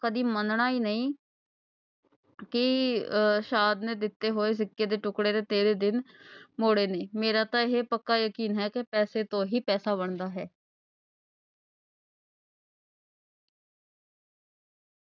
ਕਦੀ ਮੰਨਣਾ ਹੀ ਨਹੀਂ ਕਿ ਆਹ ਸਾਧ ਨੇ ਦਿੱਤੇ ਹੋਏ ਸਿੱਕੇ ਦੇ ਟੁਕੜੇ ਦੇ ਤੇਰੇ ਦਿਨ ਮੋੜੇ ਵੀ ਨੇ, ਮੇਰਾ ਤਾਂ ਇਹ ਪੱਕਾ ਯਕੀਨ ਹੈ ਕਿ ਪੈਸੇ ਤੋਂ ਹੀ ਪੈਸਾ ਬਣਦਾ ਹੈ।